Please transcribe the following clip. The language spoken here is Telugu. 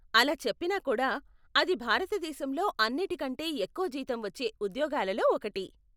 అలా చెప్పినా కూడా, అది భారతదేశంలో అన్నిటికంటే ఎక్కువ జీతం వచ్చే ఉద్యోగాలలో ఒకటి.